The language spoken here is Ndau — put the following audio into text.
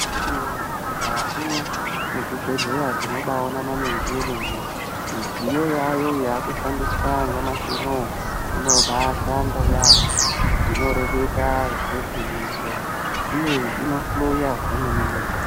Akiti woye mukati mwe zvibhedhleya tino bai ona maninji emene midziyo yayo yaku shandiswa nyamashi unowu inobai shanda yambo ino reketa zve ngwinyiso uye ino hloya zve mene mene.